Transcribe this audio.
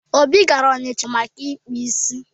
Obi gara ọnịcha maka ịkpụ isi.